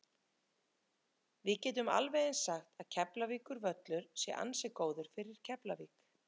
Við getum alveg eins sagt að Keflavíkurvöllur sé ansi góður fyrir Keflavík.